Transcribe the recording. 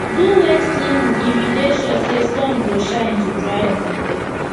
do wet cleaning if u dey sure say sun go shine to dry am